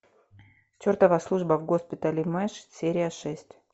чертова служба в госпитале мэш серия шесть